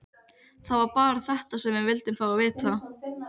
Það var bara þetta sem við vildum fá að vita.